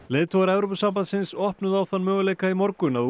leiðtogar Evrópusambandsins opnuðu á þann möguleika í morgun að